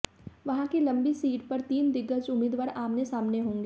वहां की लांबी सीट पर तीन दिग्गज उम्मीदवार आमने सामने होंगे